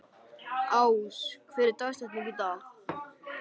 Ás, hver er dagsetningin í dag?